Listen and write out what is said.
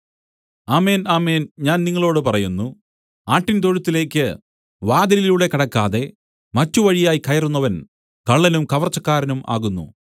ആമേൻ ആമേൻ ഞാൻ നിങ്ങളോടു പറയുന്നു ആട്ടിൻതൊഴുത്തിലേക്ക് വാതിലിലൂടെ കടക്കാതെ മറ്റു വഴിയായി കയറുന്നവൻ കള്ളനും കവർച്ചക്കാരനും ആകുന്നു